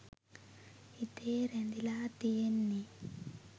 හිතේ රැඳිලා තියෙන්නෙ